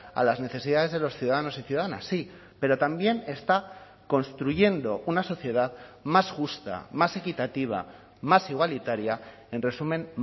a las necesidades de los ciudadanos y ciudadanas sí pero también está construyendo una sociedad más justa más equitativa más igualitaria en resumen